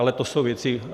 Ale to jsou věci...